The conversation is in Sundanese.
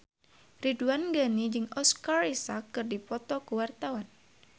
Ridwan Ghani jeung Oscar Isaac keur dipoto ku wartawan